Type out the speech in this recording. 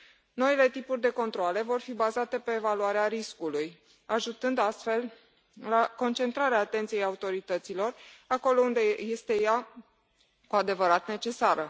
Noile tipuri de controale vor fi bazate pe evaluarea riscului, ajutând astfel la concentrarea atenției autorităților acolo unde ea este cu adevărat necesară.